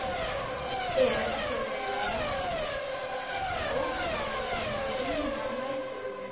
Er alla vega ófær um að vinna næturvinnu.